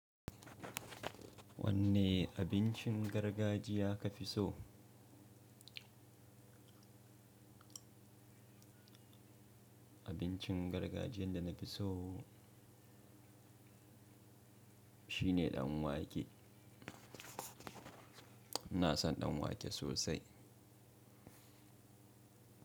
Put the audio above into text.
Wanne abincin gargajiya ka fi so? Abincin gargajiyan da na fi so shine danwake. Ina son danwake sosai.